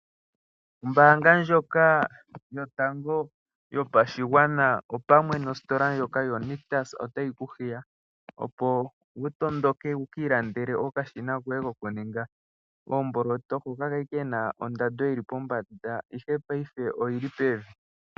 Ombaanga yotango yopashigwana pamwe nositola ndjoka yo Nictus otayi ku hiya. Opo wukiilandele okashina koye koku ninga oomboloto. Hoka kali kena ondando yili pombanda ihe ngaashingeyi oyili pevi.